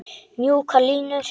Mjúkar línur.